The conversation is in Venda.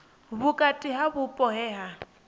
vhukati ha vhupo he ha